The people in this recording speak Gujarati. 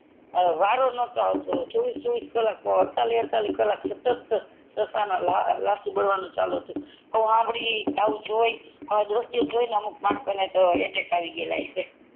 વારો નતો આવતો ચોવીસ ચોવીસ કલાક અડતાલીસ અડતાલીસ કલાક સતત લાશો બરવાનું ચાલુ હતુ આવું સાંભડી આવું જોઈ આવું દ્રશ્ય જોઈ અમુક માણસો ને તો અટેક આવી જગ્યા હસે